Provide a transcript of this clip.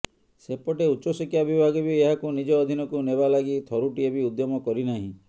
ସେପଟେ ଉଚ୍ଚଶିକ୍ଷା ବିଭାଗ ବି ଏହାକୁ ନିଜ ଅଧୀନକୁ େନବା ଲାଗି ଥରୁଟିଏ ବି ଉଦ୍ୟମ କରିନାହିଁ